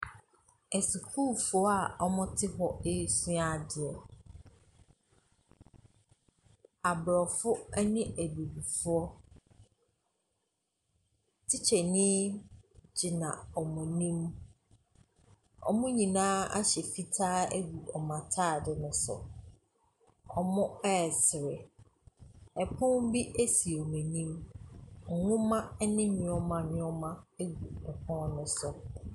Asukuufoɔ a wɔte hɔ resua adeɛ. Abrɔfo ne Abibifoɔ. Tikyani gyina wɔn anim. Wɔn nyinaa ahyɛ fitaa agu wɔn ataade no so. Wɔresere. Ɔpon bi si wɔn anim. Nwoma ne nnoɔma nnoɔma gu pono no so.